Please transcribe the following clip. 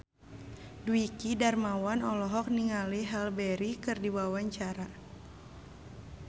Dwiki Darmawan olohok ningali Halle Berry keur diwawancara